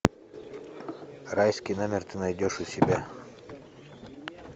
райский номер ты найдешь у себя